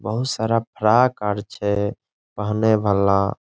बहुत सारा फराक आर छै पहने वला।